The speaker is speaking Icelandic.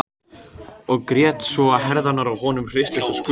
Og grét svo að herðarnar á honum hristust og skulfu.